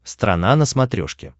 страна на смотрешке